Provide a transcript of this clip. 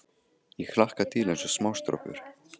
Ég hlakka til eins og smástrákur.